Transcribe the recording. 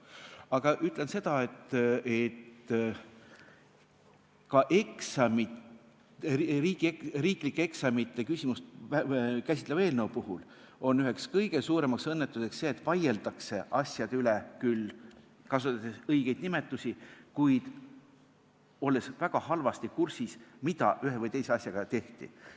Aga ütlen seda, et ka riiklike eksamite küsimust käsitleva eelnõu puhul on üheks kõige suuremaks õnnetuseks see, kui vaieldakse asjade üle, kasutades küll õigeid nimetusi, kuid olles väga halvasti kursis, mida ühe või teise asjaga on tehtud.